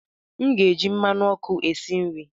M ga-eji mmanụ ọkụ esi nri.